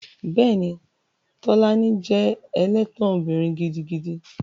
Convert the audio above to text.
Bẹ́ẹ̀ni, Tolani jẹ́ ẹlẹ́tàn obìnrin gidigidi